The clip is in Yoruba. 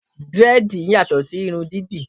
Dírẹ́dìì yàtò sí irun dídì.